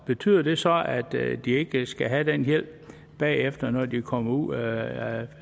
betyder det så at de ikke skal have den hjælp bagefter når de kommer ud af